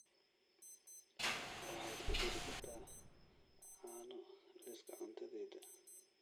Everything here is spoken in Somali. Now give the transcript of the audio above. waxaad ku dari kartaa caano liiska cuntadayda